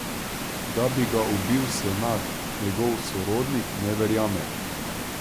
Da bi ga ubil Senad, njegov sorodnik ne verjame.